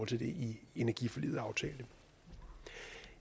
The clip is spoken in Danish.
til det i energiforliget aftalte